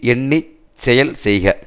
எண்ணி செயல் செய்க